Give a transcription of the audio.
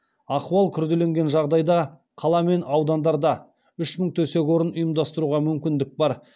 ахуал күрделенген жағдайда қала мен аудандарда үш мың төсек орын ұйымдастыруға мүмкіндік бар